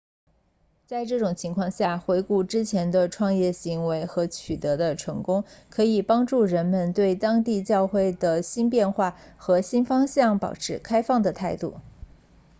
在这种情况下回顾之前的创业行为和取得的成功可以帮助人们对当地教会的新变化和新方向保持开放的态度